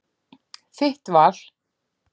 Þitt val.